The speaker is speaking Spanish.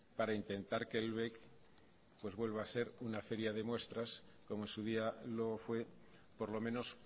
para intentar que el bec vuelva a ser una feria de muestras omo en su día lo fue por lo menos